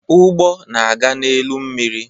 Ụgbọ na aga n'elu mmiri